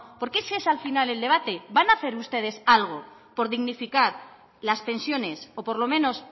porque ese es al final del debate van a hacer ustedes algo por dignificar las pensiones o por lo menos